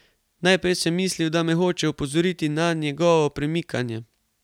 Najprej sem mislil, da me hoče opozoriti na njegovo premikanje.